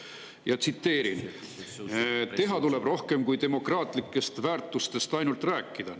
Ma tsiteerin: "Teha tuleb rohkem kui demokraatlikest väärtustest ainult rääkida.